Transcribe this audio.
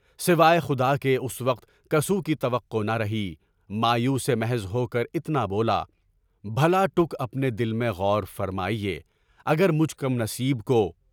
سوائے خدا کے اس وقت کاسو کی توقع نہ رہی، مایوس محض ہو کر اتنا بولا، بھلا تُم اپنے دل میں غور فرماؤ، اگر مجھ کم نصیب کو